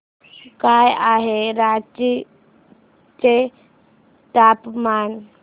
काय आहे रांची चे तापमान